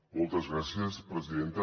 moltes gràcies presidenta